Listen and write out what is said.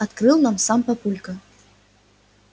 открыл нам сам папулька